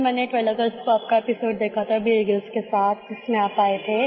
sir मैंने twelve August को आपका एपिसोड देखा था बियर ग्रिल्स के साथ जिसमें आप आये थे